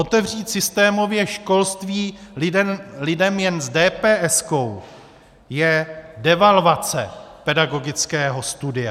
Otevřít systémově školství lidem jen s dépéeskou je devalvace pedagogického studia.